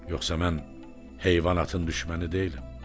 Yoxsa mən heyvanatın düşməni deyiləm.